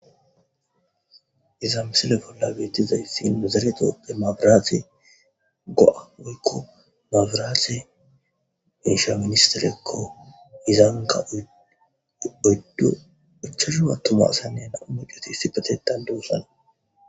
iza misile bolla beetizayssi nuzereto demabiraatse go7a woykko mabiraatse insha ministerekko izanka odduuchashuwa tuma asaynne naumucoti si patetan duwussana